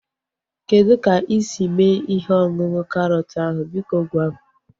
Kedụ ka isi mee ihe ọṅụṅụ karọt ahu? Biko gwa m